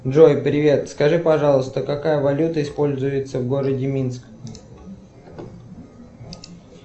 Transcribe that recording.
джой привет скажи пожалуйста какая валюта используется в городе минск